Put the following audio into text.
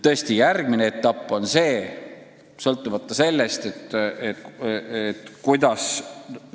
Ja järgmine etapp on see, et tuleb otsustada, kuidas me need eesmärgid täidame.